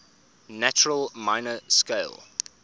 natural minor scale